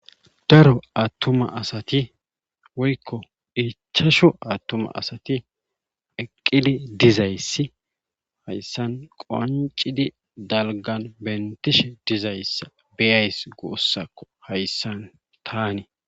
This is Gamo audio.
Daro attuma asati woykko ichashu attuma asati eqqidi dizayssi hayssan qoncidi dalgan bentishe dizayssa beyays goussakko hayssan taane.